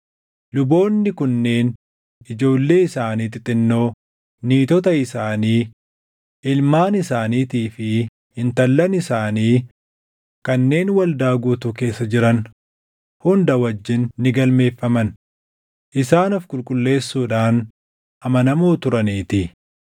Luboonni kunneen ijoollee isaanii xixinnoo, niitota isaanii, ilmaan isaaniitii fi intallan isaanii kanneen waldaa guutuu keessa jiran hunda wajjin ni galmeeffaman; isaan of qulqulleessuudhaan amanamoo turaniitii.